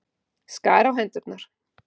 Skar á hendurnar.